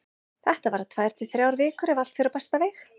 Þetta verða tvær til þrjár vikur ef allt fer á besta veg.